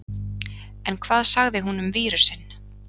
En hvað sagði hún um vírusinn?